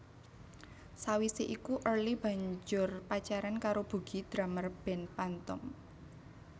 Sawise iku Early banjur pacaran karo Bugi drummer band Phantom